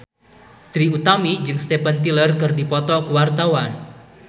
Trie Utami jeung Steven Tyler keur dipoto ku wartawan